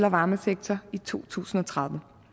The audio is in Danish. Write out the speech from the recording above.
og varmesektor i to tusind og tredive